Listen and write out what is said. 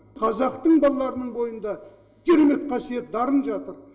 қазақтың балаларының бойында керемет қасиет дарын жатыр